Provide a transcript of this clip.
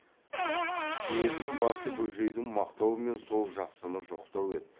сезінің басы бөжейді мақтау мен сол жақсыны жоқтау еді